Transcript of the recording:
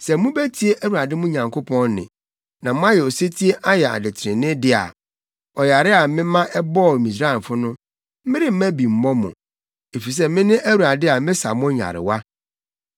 “Sɛ mubetie Awurade mo Nyankopɔn nne, na moayɛ osetie ayɛ ade trenee de a, ɔyare a mema ɛbɔɔ Misraimfo no, meremma bi mmɔ mo, efisɛ mene Awurade a mesa mo nyarewa.”